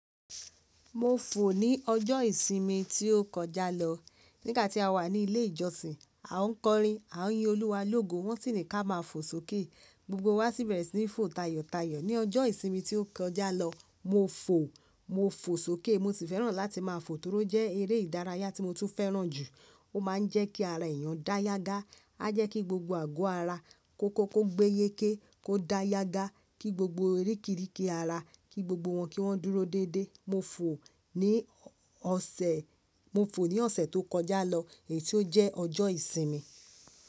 Mo fò ní ọjọ́ ìsinmi tí ó kọjá lọ. Nígbà tí a wà ní ilé ìjọsìn, a ńkọrin, a ńyin Olúwa lógo, wọ́n sì ní ká máa fò sókè. Gbogbo wa sì bẹ̀rẹ̀ sí ní fò tayọ̀tayọ̀. Ní ọjọ́ ìsinmi tí ó kọjá lọ, mo fò, mo fò sókè. Mo sì fẹ́ràn láti máa fò toró jẹ́ eré ìdárayá tí mo tún fẹ́ràn jù. Ó máa ń jẹ́ kí ara èèyàn dá yágá, á jẹ́ kí gbogbo àgọ́ ara kó kóko gbé yéké, kó dá yágá, kí gbogbo erékìíríkì ara, kí gbogbo wọn kí wọ́n dúró dédé. Mo fò ní ọ̀sẹ̀, mo fò ní ọ̀sẹ̀ tó kọjá lọ èyí tí ó jẹ́ ọjọ́ ìsinmi.